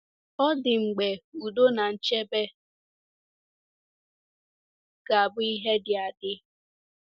Ọ̀ dị mgbe udo na nchebe ga-abụ ihe dị adị.